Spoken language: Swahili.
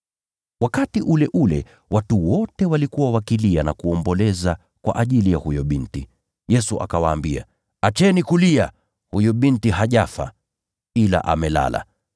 Wakati ule ule watu wote walikuwa wakilia na kuomboleza kwa ajili ya huyo binti. Yesu akawaambia, “Acheni kulia. Huyu binti hajafa, ila amelala.”